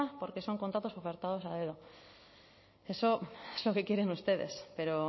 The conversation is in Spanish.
porque son contratos concertados a dedo eso es lo que quieren ustedes pero